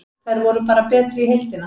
Þær voru bara betri í heildina.